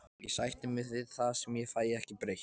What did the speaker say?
Ég sætti mig við það sem ég fæ ekki breytt.